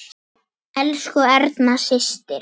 Elsku Erna systir.